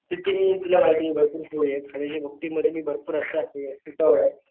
किती मी तुला माहितेय मी भरपूर फूडी खाण्याच्या बाबती मध्ये मी भरपूर असा हे उतावळाय.